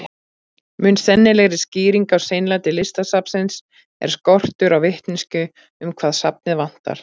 Mun sennilegri skýring á seinlæti Listasafnsins er skortur á vitneskju um hvað safnið vantar.